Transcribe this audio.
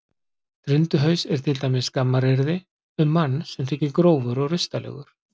Drundhaus er til dæmis skammaryrði um mann sem þykir grófur og rustalegur.